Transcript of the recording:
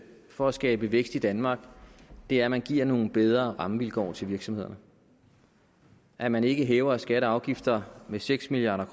for at skabe vækst i danmark er at man giver nogle bedre rammevilkår til virksomhederne at man ikke hæver skatter og afgifter med seks milliard